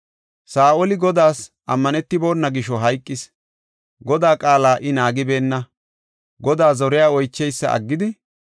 Saa7oli Godaas ammanetibona gisho hayqis. Godaa qaala I naagibeenna; Godaa zore oycheysa aggidi,